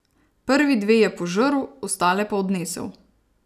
Prvi dve je požrl, ostale pa odnesel.